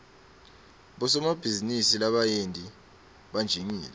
bosomabhizinisi labayenti banjingile